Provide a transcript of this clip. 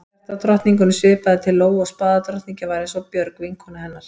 Hjartadrottningunni svipaði til Lóu og spaðadrottningin var eins og Björg, vinkona hennar.